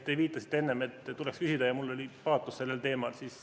Te viitasite enne, et tuleks küsida ja et mul oli paatos sellel teemal.